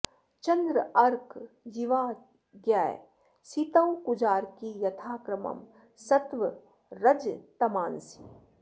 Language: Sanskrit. चन्द्रार्क जीवा ज्ञ सितौ कुजार्की यथा क्रमं सत्वरजस्तमांसि